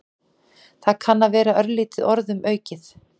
Það kann að vera örlítið orðum aukið.